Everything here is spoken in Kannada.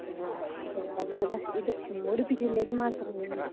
ಹ್ಮ್ ಹಾಗಾದ್ರೆ ಜಾಸ್ತಿ ಅಹ್ ಇದು ಉಡುಪಿ ಜಿಲ್ಲೆಗೆ ಮಾತ್ರ ನಿಮ್ದು?